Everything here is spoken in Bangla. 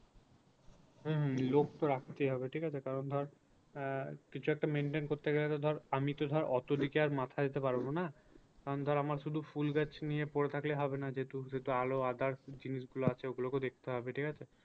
হম হম লোক তো রাখতেই হবে ঠিক আছে কারণ ধর আহ কিছু একটা maintain করতে গেলে তো ধরে আমি তো ধর অত দিকে আর মাথা দিতে পারবো না কারণ ধর আমার শুধু ফুল গাছ নিয়ে পরে থাকলে হবে না যেহেতু সেহেতু আলো আঁধার জিনিস গুলো আছে ও গুলোকেও দেখতে হবে ঠিক আছে